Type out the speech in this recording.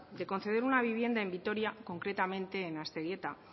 de conceder una vivienda en vitoria concretamente en aztegieta